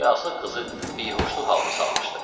yası qızı bihuşluq halına salmışdı.